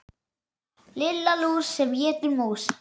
Lilla lús sem étur mús.